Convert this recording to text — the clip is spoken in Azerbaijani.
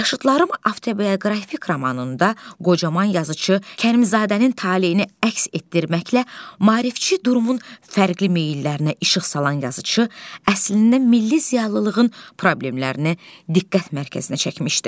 Yaşıdlarım avtobioqrafik romanında qocaman yazıçı Kərimzadənin taleyini əks etdirməklə maarifçi durumun fərqli meyllərinə işıq salan yazıçı əslində milli ziyalılığın problemlərini diqqət mərkəzinə çəkmişdi.